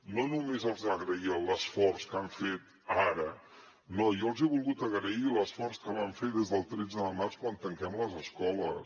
no només els agraïa l’esforç que han fet ara no jo els he volgut agrair l’esforç que van fer des del tretze de març quan tanquem les escoles